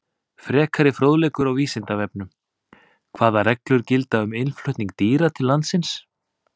Frekari fróðleikur á Vísindavefnum: Hvaða reglur gilda um innflutning dýra til landsins?